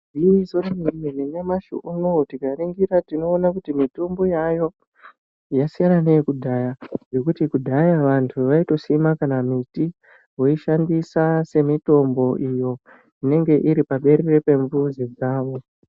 Igwinyiso remene-mene, nyamushi unowu tikaningira tinoona kuti mitombo yaayo, yasiyana neyekudhaya, ngekuti kudhaya vantu vaitosima kana miti, voishandisa semitombo iyo inenge iri paberere pemizi yavo.